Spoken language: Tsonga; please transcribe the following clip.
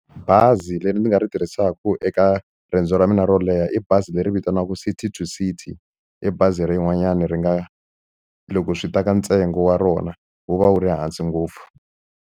Bazi leri ni nga ri tirhisaka eka riendzo ra mina ro leha i bazi leri vitaniwaka City to City i bazi ra yin'wanyana ri nga loko swi ta ka ntsengo wa rona wu va wu ri hansi ngopfu.